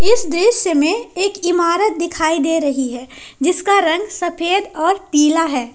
इस दृश्य में एक इमारत दिखाई दे रही है जिसका रंग सफेद और पीला है।